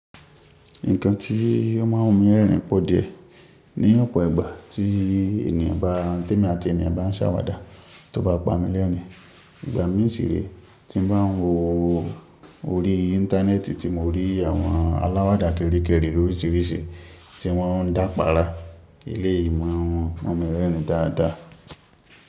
Nǹkan tí ó mọ́ n rẹrin pọ̀ díẹ̀ ní ọ̀pọ̀ ìgbà tí ènìyàn bá, te èmi àti ènìyàn bá ń sàwàdà tó bá pami lẹ́rin. Ìgbà mísìrẹ́ tí n bá ń wo orí Íńtánẹ́ẹ̀tì tí mo rí àwọn aláwàdà kéré kéré oríṣìíríṣìí tí wọ́n ń dápa ara ilé ìmọ̀ àwọn òmíràn dáadáa.